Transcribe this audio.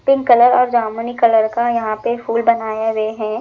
Pink colour और जामुनी colour का यहा पे फूल बनाये गये हैं।